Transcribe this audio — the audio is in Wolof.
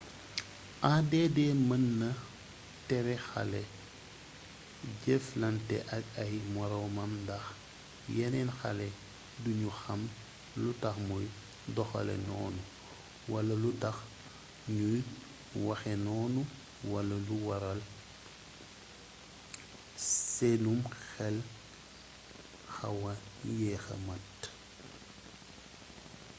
add mën na tere xale jëflante ak ay moroomam ndax yeneen xale duñu xam lu tax muy doxalee noonu wala lu tax ñuy waxee noonu wala lu waral seenum xel xawa yeexa mat